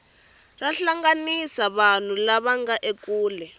ra hlanganisa vanhu lava nga ekule